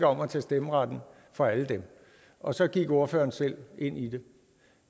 om at tage stemmeretten fra alle dem og så gik ordføreren selv ind i det